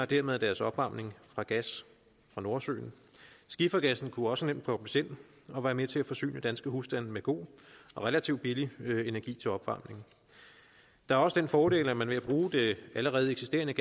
dermed deres opvarmning fra gas fra nordsøen skifergassen kunne også nemt fås ind og være med til at forsyne danske husstande med god og relativt billig energi til opvarmning der er også den fordel at man ved at bruge det allerede eksisterende